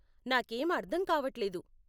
నాకేం అర్ధం కావట్లేదు.